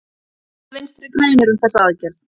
Hvað segja Vinstri-grænir um þessa aðgerð?